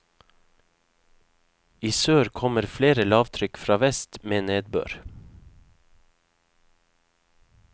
I sør kommer flere lavtrykk fra vest med nedbør.